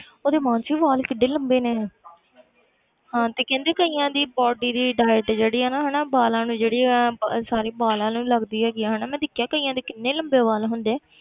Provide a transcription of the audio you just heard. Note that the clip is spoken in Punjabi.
ਉਹਦੇ ਮਾਨਸੀ ਵਾਲ ਕਿੱਡੇ ਲੰਬੇ ਨੇ ਹਾਂ ਤੇ ਕਹਿੰਦੇ ਕਈਆਂ ਦੀ body ਦੀ diet ਜਿਹੜੀ ਹੈ ਹਨਾ ਵਾਲਾਂ ਨੂੰ ਜਿਹੜੀ ਹੈ ਅਹ sorry ਵਾਲਾਂ ਨੂੰ ਲੱਗਦੀ ਹੈਗੀ ਹੈ ਹਨਾ ਮੈਂ ਦੇਖਿਆ ਕਈਆਂ ਦੇ ਕਿੰਨੇ ਲੰਬੇ ਵਾਲ ਹੁੰਦੇ।